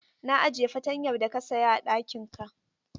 Na ajiye fatanyar da ka saya a ɗakinka.